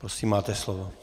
Prosím, máte slovo.